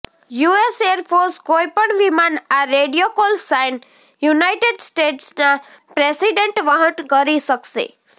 US air force કોઈપણ વિમાન આ રેડિયો કોલ સાઇન યુનાઇટેડ સ્ટેટ્સના પ્રેસિડેન્ટ વહન કરી શકશે